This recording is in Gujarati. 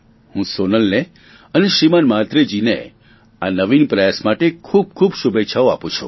હું સોનલને અને શ્રીમાન મહાત્રેજીને આ નવીન પ્રયાસ માટે ખૂબખૂબ શુભેચ્છાઓ આપું છું